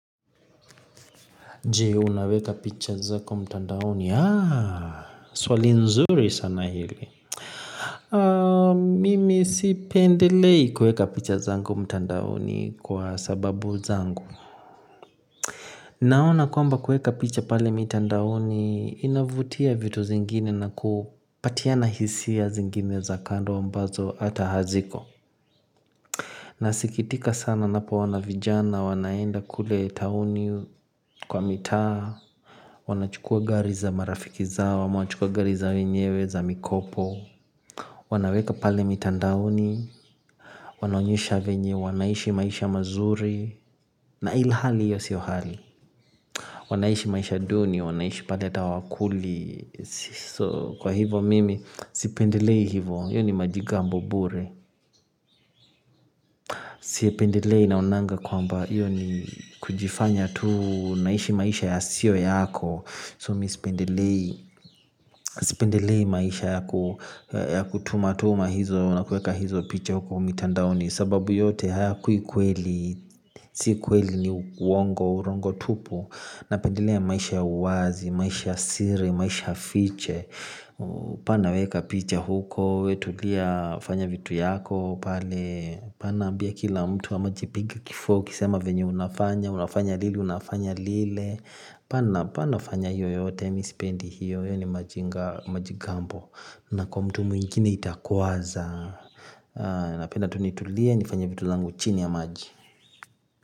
Jee unaweka picha zako mtandaoni? Yaa swali nzuri sana hili, mimi sipendelei kuweka picha zango mtandaoni kwa sababu zangu naona kwamba kuweka picha pale mitandaoni inavutia vitu zingine na kupatiana hisia zingine za kando mbazo hata haziko. Nasikitika sana napo ona vijana wanaenda kule tauni kwa mitaa. Wanachukua gari za marafiki zao ama wanachukua gari za wenyewe za mikopo. Wanaweka pale mitandaoni, wanaonyesha venye wanaishi maisha mazuri na ili hali hiyo siyo hali wanaishi maisha duni wanaishi pale ata hawakuli, kwa hivyo mimi sipendelei hivyo hiyo ni majigambo bure sipendelei naonanga kwamba hiyo ni kujifanya tu naishi maisha yasio yako mi sipendelei sipendele maisha ya kutuma tuma hizo na kuweka hizo picha huko umitandaoni sababu yote hayakui kweli, sii kweli ni uongo, uongo tupu napendelea maisha ya uwazi, maisha siri, maisha fiche hapana weka picha huko, wetulia fanya vitu yako pale hapana ambia kila mtu ama jipige kifua ukisema venye unafanya, unafanya lili, unafanya lile, hapana fanya hiyo yote, mimi sipendi hiyo wewe ni majigambo na kwa mtu mwingine itakwaza, napenda tu nitulia nifanye vitu zangu chini ya maji.